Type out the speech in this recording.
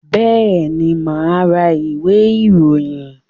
Bẹ́ẹ̀ni, mà á ra ìwé-ìròyìn.